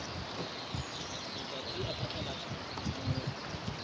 matsatsi a phatlalatsa a phomolo